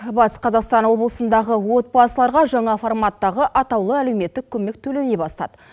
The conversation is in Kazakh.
батыс қазақстан облысындағы отбасыларға жаңа форматтағы атаулы әлеуметтік көмек төлене бастады